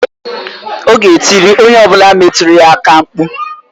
Ọ ga-etiri onye ọ bụla metụrụ ya aka mkpụ.